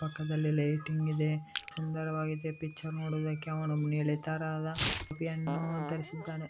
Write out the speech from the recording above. ಪಕ್ಕದಲ್ಲಿ ಲೈಟಿಂಗ್ ಇದೆ ಸುಂದರವಾಗಿದೆ ಪಿಚ್ಚರ್ ನೋಡೋದಕ್ಕೆ ಅವನು ನೀಲಿ ತರದ ಟೋಪಿಯನ್ನು ಧರಿಸಿದ್ದಾನೆ.